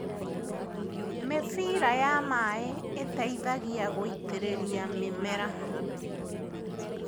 Mĩbira ya maĩ ĩteithagia gũitĩrĩria mĩmera